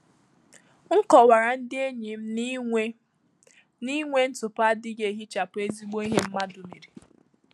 M kọwara ndị enyi m na inwe na inwe ntụpọ adịghị ehichapụ ezigbo ihe mmadụ mere.